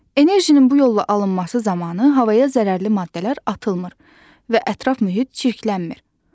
Enerjinin bu yolla alınması zamanı havaya zərərli maddələr atılmır və ətraf mühit çirklənmir.